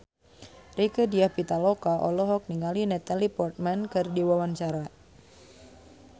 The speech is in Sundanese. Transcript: Rieke Diah Pitaloka olohok ningali Natalie Portman keur diwawancara